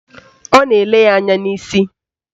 Ọ nọ na-ele ya anya n'isi